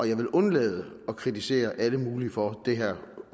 jeg vil undlade at kritisere alle mulige for det her